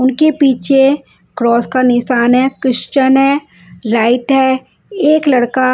उनके पीछे क्रोस का निशान है क्रिश्चियन है लाइट है एक लड़का --